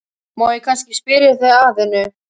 Má ég kannski spyrja þig að einu?